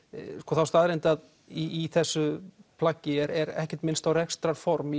þá staðreynd að í þessu plaggi er ekkert minnst á rekstrarform